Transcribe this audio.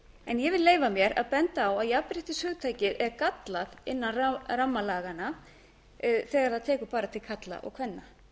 en ég vil leyfa mér að benda að jafnréttishugtakið er gallað innan ramma laganna þegar það tekur bara til karla og kvenna